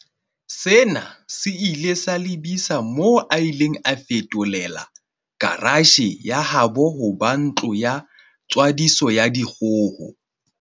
Sena se ile sa lebisa moo a ileng a feto lela karatjhe ya habo ho ba ntlo ya tswadiso ya dikgoho.